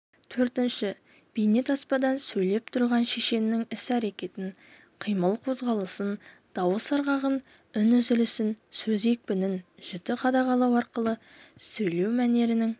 төртінші бейнетаспадан сөйлеп тұрған шешеннің іс-әрекетін қимыл-қозғалысын дауыс ырғағын үн үзілісін сөз екпінін жіті қадағалау арқылы сөйлеу мәнерінің